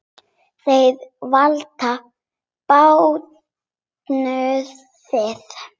Þeir velta bátnum við.